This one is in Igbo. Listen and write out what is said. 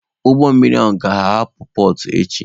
Ụgbọ mmiri ahụ ga-ahapụ pọọt echi.